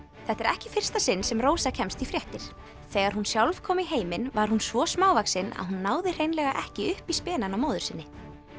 þetta er ekki í fyrsta sinn sem Rósa kemst í fréttir þegar hún sjálf kom í heiminn var hún svo smávaxin að hún náði hreinlega ekki upp í spenann á móður sinni